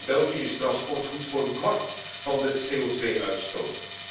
In België is transport goed voor een kwart van de CO2 uitstoot.